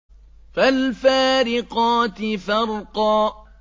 فَالْفَارِقَاتِ فَرْقًا